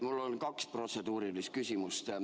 Mul on kaks protseduurilist küsimust.